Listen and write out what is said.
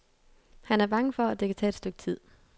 Han er bange for, at det kan tage et stykke tid.